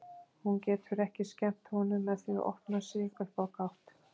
Hún getur ekki skemmt honum með því að opna sig upp á gátt.